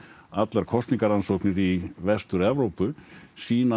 allar kosningarannsóknir í Vestur Evrópu sýna